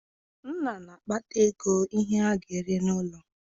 Nna na-akpata ego ihe a ga-eri n'ụlọ